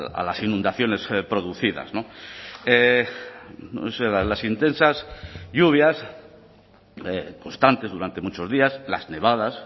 a las inundaciones producidas las intensas lluvias constantes durante muchos días las nevadas